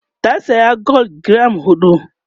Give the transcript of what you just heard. ta saya gwal giram huɗu